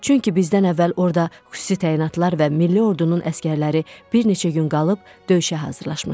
Çünki bizdən əvvəl orada xüsusi təyinatlar və milli ordunun əsgərləri bir neçə gün qalıb döyüşə hazırlaşmışdı.